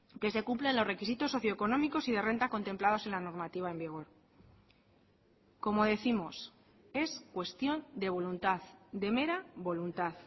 que se cumplan los requisitos socio económicos y de renta contemplados en la normativa en vigor como décimos es cuestión de voluntad de mera voluntad